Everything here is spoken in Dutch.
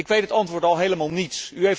Ik weet het antwoord al helemaal niets!